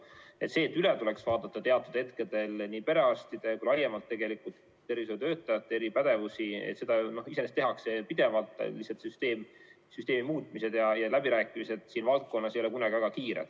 See, et teatud hetkel tuleks üle vaadata nii perearstide kui ka laiemalt tervishoiutöötajate pädevusi – seda iseenesest tehakse pidevalt, lihtsalt süsteemi muutmised ja läbirääkimised siin valdkonnas ei lähe kunagi väga kiirelt.